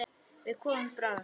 Við komum bráðum.